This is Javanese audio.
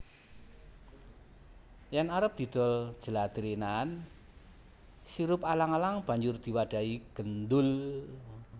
Yen arep didol jladrenan sirup alang alang banjur diwadhahi gendul